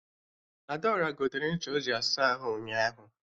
Adaora gotere ncha o ji asa ahụ ụnyaahụ